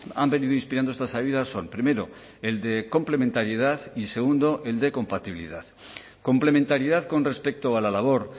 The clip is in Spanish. han venido inspirando estas ayudas son primero el de complementariedad y segundo el de compatibilidad complementariedad con respecto a la labor